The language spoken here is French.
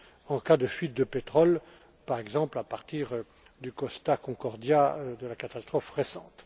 en cas de fuite de pétrole, par exemple à partir du Costa Concordia lors de cette catastrophe récente.